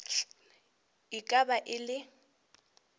e ka ba e le